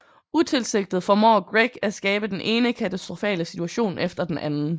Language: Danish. Utilsigtet formår Greg at skabe den ene katastrofale situation efter den anden